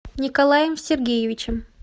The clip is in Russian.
николаем сергеевичем